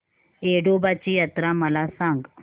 येडोबाची यात्रा मला सांग